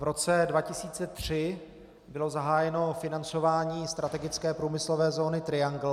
V roce 2003 bylo zahájeno financování strategické průmyslové zóny Triangle.